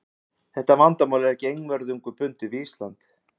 Þetta vandamál er ekki einvörðungu bundið við Ísland.